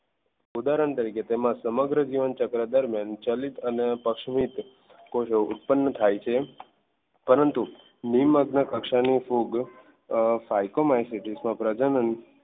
ઉદાહરણ તરીકે તેમાં સમગ્ર જીવન ચક્ર દરમિયાન ચલિત અને પ્રસ્મિત કોષો ઉત્પન્ન થાય છે પરંતુ નિમ્ન કક્ષાની ફૂગ સાયકોમાઇસમાં પ્રજનન